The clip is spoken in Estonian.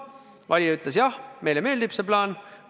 Valija ütles, et neile meeldib see plaan.